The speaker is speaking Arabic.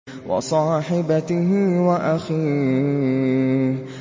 وَصَاحِبَتِهِ وَأَخِيهِ